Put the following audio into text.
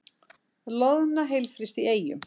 Loðna heilfryst í Eyjum